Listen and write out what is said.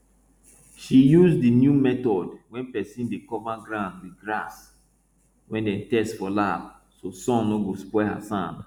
she use di new method wey person dey cover ground with grass wey dem test for lab so sun no spoil her sand